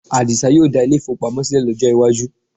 Àdìsá yóò dá ilé-ìfowópamọ́ sílẹ̀ lọ́jọ́ iwájú